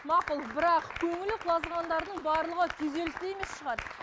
мақұл бірақ көңілі құлазығандардың барлығы күйзелісте емес шығар